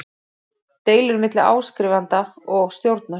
deilur milli áskrifanda og stjórnar.